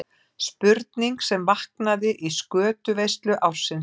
Spurning sem vaknaði í skötuveislu ársins.